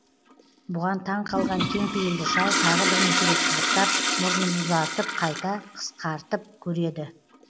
бұған таң қалған кеңпейілді шал тағы бірнеше рет қызықтап мұрнын ұзартып қайта қыстартып көреді